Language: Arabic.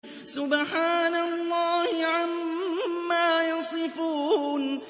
سُبْحَانَ اللَّهِ عَمَّا يَصِفُونَ